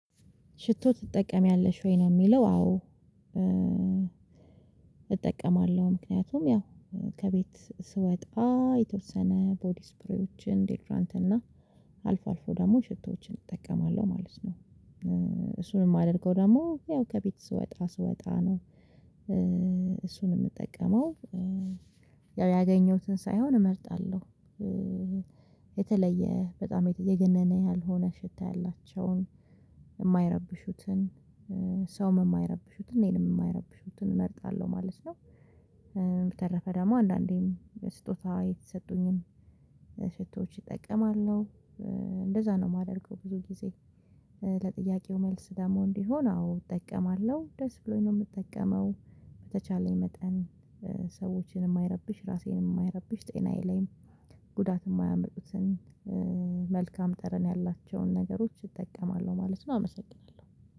ሽቶ ትጠቀሚያለሽ ወይ? ነው የሚለው። አዎ እጠቀማለሁ። ምክንያቱም ያው ከቤት ስወጣ የተወሰነ ቦዲ ስፕሪዎችን፣ ዴድራንት እና አልፎ አልፎ ደግሞ ሽቶዎችን እጠቀማለሁ ማለት ነው። እሱንም ማደርገው ደግሞ ያው ከቤት ስወጣ ስወጣ ነው። እሱን የምጠቀመው ያው ያገኘሁትን ሳይሆን እመርጣለሁ። የተለየ በጣም የገነነ ያልሆነ ሽታ ያላቸውን፣ የማይረብሹትን፣ ሰውም የማይረብሹትን፣ እኔንም የማይረብሹትን እመርጣለሁ ማለት ነው። በተረፈ ደግሞ አንዳንዴም ስጦታ የተሰጡኝን ስጦች እጠቀማለሁ። እንደዛ ነው የማደርገው ብዙ ጊዜ። ለጥያቄው መልስ ደግሞ እንዲሆን አዎ እጠቀማለሁ። ደስ ብሎኝ ነው የምጠቀመው። በተቻለኝ መጠን ሰዎችን የማይረብሽ ራሴን፣ የማይረብሽ፣ ጤናዬ ላይም ጉዳት የማያመጡትን መልካም ጠረን ያላቸውን ነገሮች እጠቀማለሁ ማለት ነው። አመሰግናለሁ።